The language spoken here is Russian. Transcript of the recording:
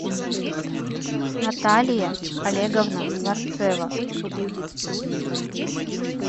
наталья олеговна варцева